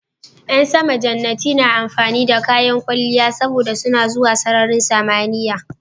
Ƴan sama jannati na amfani da kayan kwalliya saboda suna zuwa sararin samaniya